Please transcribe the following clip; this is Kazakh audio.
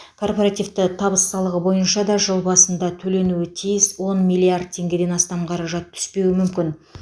корпоративті табыс салығы бойынша да жыл басында төленуі тиіс он миллиард теңгеден астам қаражат түспеуі мүмкін